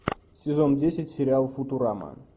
сезон десять сериал футурама